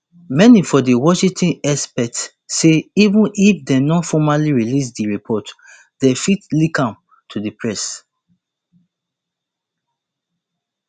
many for washington expect say even if dem no formally release di report dem fit leak am to di press